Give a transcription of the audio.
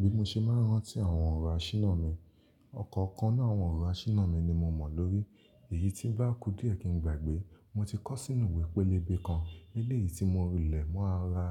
Bí mo ṣe máa ń rántí àwọn ọ̀rọ̀ asíná mi. Ọ̀kọ̀ọ̀kan ninu àwọn ọ̀rọ̀ asíná mi ni mo mọ̀ lórí èyí tí ń bá kú díẹ̀ kí n gbàgbé. Mo ti kọ́ sínú ìwé pélébé kan. Eléyìí tí mo rí lẹ̀ mo ara,